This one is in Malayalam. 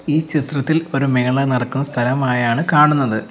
ഈ ചിത്രത്തിൽ ഒരു മേള നടക്കുന്ന സ്ഥലമായാണ് കാണുന്നത്.